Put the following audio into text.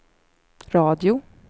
radio